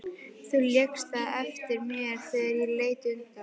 Þú lékst það eftir mér þegar ég leit undan.